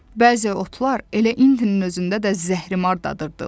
Bəzi otlar elə itin özündə də zəhrimar dadırdı.